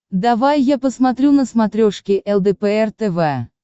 давай я посмотрю на смотрешке лдпр тв